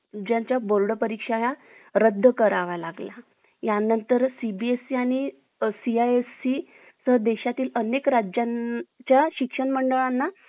आम्ही सर्वे मुले गिल्ली दंडा, क्रिकेट, धावणे, दोरीवर उड्या मारणे इत्यादी खेळ खेळायचो. रात्री थकल्यावर आजीकडून कथा